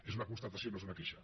és una constatació no és una queixa